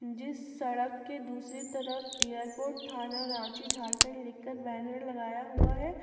जिस सड़क के दूसरी तरफ एयरपोर्ट थाना रांची झारखंड लिखकर बैनर लगाया हुआ है।